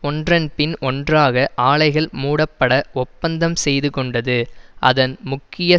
ஒன்றொன்பின் ஒன்றாக ஆலைகள் மூடப்பட ஒப்பந்தம் செய்து கொண்டது அதன் முக்கிய